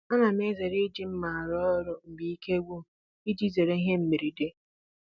Ana m ezere iji mma arụ ọrụ ma ike gwụm iji zere ihe mberede